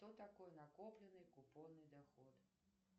что такое накопленный купонный доход